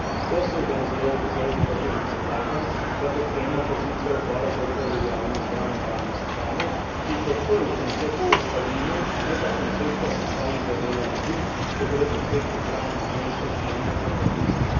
To so razlogi, zaradi katerih predlagam, da podpremo pozicijo Odbora za okolje, javno zdravje in varnost hrane, ki je podprl koncept sestavine, ne pa koncepta sestavnega dela medu, ko gre za cvetnih prah iz gensko spremenjenih organizmov.